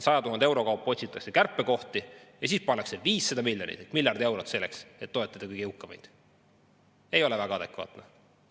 100 000 euro kaupa otsitakse kärpekohti ja siis pannakse 500 miljonit või miljard eurot selle alla, et toetada kõige jõukamaid – see ei ole väga adekvaatne.